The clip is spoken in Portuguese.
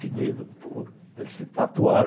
pô, eles se tatuaram.